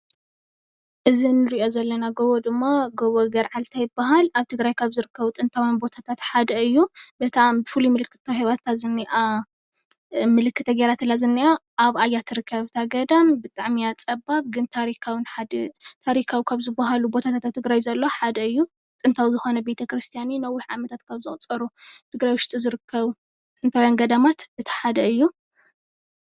እዚ እንሪኦ ዘለና ጎቦ ድማ ጎቦ ገርዓልታ ይባሃል፡፡ ኣብ ትግራይ ካብ ዝርከቡ ጥንታውያን ቦታታት ሓደ እዩ፡፡ እታ ፍሉይ ምልክት ተዋሂባታ ዝኒኣ ምልክት ተገይራትላ ዝኒኣ ኣብኣ እያ ትርከብ እታ ገዳም ብጣዕሚ እያ ፀባብ ግን ታሪኻውን ካብ ዝበሃሉ ቦታታት ኣብ ትግራይ ዘሎ ሃደ እዩ። ጥንታውን ታሪካዊን ነዊሕ ዓመታት ካብ ዘቑፀሩን ኣብ ትግራይ ውሽጢ ካብ ዝርከቡ ጥንታውያን ገዳማት /ኣብያተ-ክርስትያናት/ እቲ ሓደ እዩ፡፡